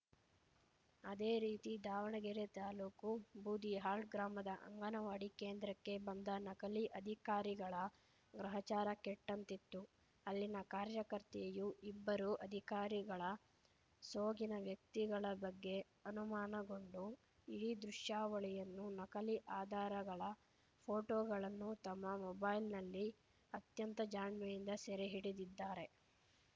ಅದೇರೀತಿ ದಾವಣಗೆರೆ ತಾಲೂಕು ಬೂದಿಹಾಳ್‌ ಗ್ರಾಮದ ಅಂಗನವಾಡಿ ಕೇಂದ್ರಕ್ಕೆ ಬಂದ ನಕಲಿ ಅಧಿಕಾರಿಗಳ ಗ್ರಹಚಾರ ಕೆಟ್ಟಂತಿತ್ತು ಅಲ್ಲಿನ ಕಾರ್ಯಕರ್ತೆಯು ಇಬ್ಬರೂ ಅಧಿಕಾರಿಗಳ ಸೋಗಿನ ವ್ಯಕ್ತಿಗಳ ಬಗ್ಗೆ ಅನುಮಾನಗೊಂಡು ಇಡೀ ದೃಶ್ಯಾವಳಿಯನ್ನು ನಕಲಿ ಅಧಾರಗಳ ಫೋಟೋಗಳನ್ನು ತಮ್ಮ ಮೊಬೈಲ್‌ನಲ್ಲಿ ಅತ್ಯಂತ ಜಾಣ್ಮೆಯಿಂದ ಸೆರೆ ಹಿಡಿದಿದ್ದಾರೆ